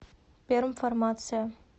пермфармация